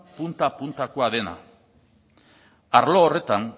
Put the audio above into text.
punta puntakoa dena arlo horretan